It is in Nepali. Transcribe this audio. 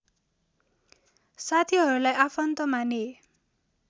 साथीहरूलाई आफन्त माने